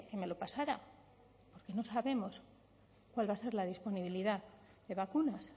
me lo pasara no sabemos cuál va a ser la disponibilidad de vacunas